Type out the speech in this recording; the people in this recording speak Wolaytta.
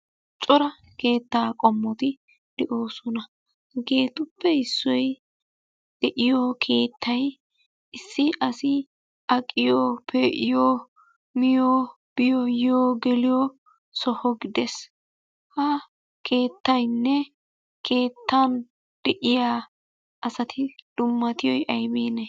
Cora keettaa qommoti de'oosona. Hegeetuppe issoy de'iyo keettay issi asi aqiyo, pee'iyo, miyo, biyo, yiyo, geliyo soho gidees. Ha keettayinne keettan de'iya asati dummatiyoy ayibiinee?